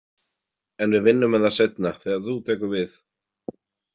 En við vinnum með það seinna, þegar þú tekur við.